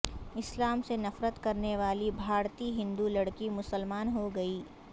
اسلام سے نفرت کرنے والی بھارتی ہندو لڑکی مسلمان ہوگئی